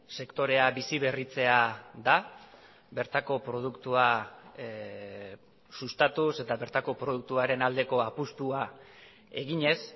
sektorea bizi berritzea da bertako produktua sustatuz eta bertako produktuaren aldeko apustua eginez